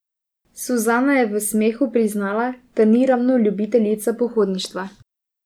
Suzana je v smehu priznala, da ni ravno ljubiteljica pohodništva.